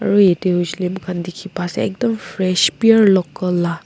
aro ede huishele moikhan dikhi pa ase ekdam fresh pure local la.